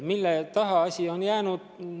Mille taha on asi jäänud?